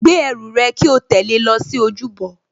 Gbé ẹrù rẹ kí o tẹ̀lé lọ sí ojúbọ